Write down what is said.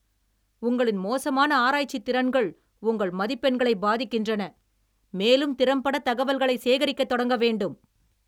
உங்களின் மோசமான ஆராய்ச்சித் திறன்கள் உங்கள் மதிப்பெண்களைப் பாதிக்கின்றன, மேலும் திறம்பட தகவல்களை சேகரிக்கத் தொடங்க வேண்டும்.